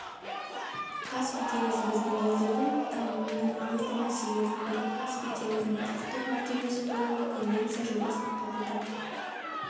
каспий теңізі біздің елдердің дамуының маңызды мәселелерінің бірі каспий теңізінің құқықтық мәртебесі туралы конвенция жобасын қабылдау